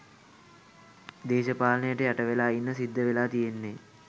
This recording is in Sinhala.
දේශපාලනයට යට වෙලා ඉන්න සිද්ධ වෙලා තියෙන්නේ